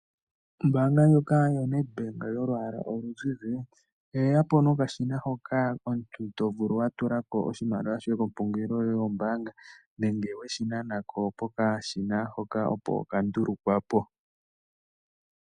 Ombaanga ndjoka yo Nedbank yolwaala oluzizi, oye yapo nokashina hoka omuntu tovulu wa tulako oshimaliwa shoye kompungulilo yoye yombaanga, nenge weshi nanako pokashina hoka opo ka ndulukwa po.